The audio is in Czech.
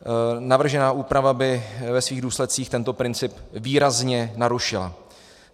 Navržená úprava by ve svých důsledcích tento princip výrazně narušila.